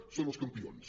en són els campions